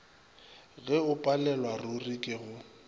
ge o palelwaruri ke go